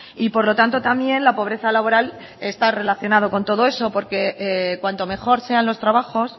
y por lo tanto también la pobreza laboral está relacionado con todo eso porque cuanto mejor sean los trabajos